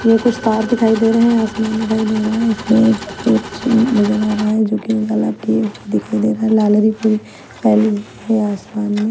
ये कुछ तार दिखाई दे रहे हैं आसमान दिखाई दे रहा है इसमें एक सूरज नजर आ रहा है जो कि दिखाई दे रहा है लालरी पूरी फैली हुई है आसमान मे।